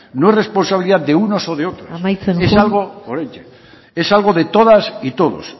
no es responsabilidad de unos o de otros es algo de todas y todos